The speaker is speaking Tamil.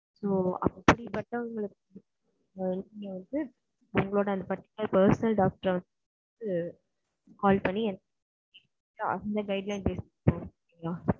ஓ அப்படி பட்டவுங்களுக்கு நீங்க வந்து personal டாக்டர் வச்சு call பண்ணி அவங்ககிட்ட guidelines கேட்டுக்கலாம்.